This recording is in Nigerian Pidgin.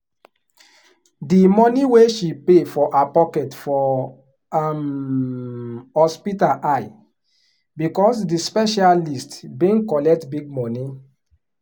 the money wey she pay from her pocket for um hospital high because the specialist been collect big money